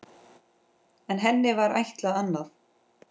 En henni var ætlað annað.